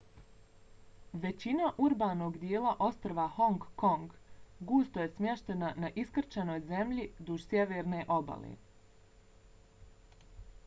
većina urbanog dijela ostrva hong kong gusto je smještena na iskrčenoj zemlji duž sjeverne obale